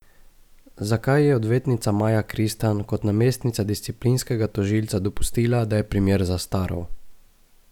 Zakaj je odvetnica Maja Kristan kot namestnica disciplinskega tožilca dopustila, da je primer zastaral?